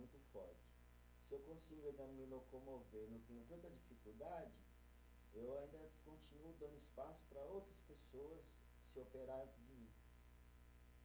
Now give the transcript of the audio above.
Se eu consigo ainda me locomover e não tenho tanta dificuldade, eu ainda continuo dando espaço para outras pessoas se operar antes de mim.